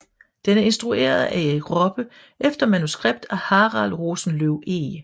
Den er instrueret af Erik Poppe efter manuskript af Harald Rosenløw Eeg